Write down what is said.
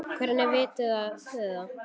Hvernig vitið þið það?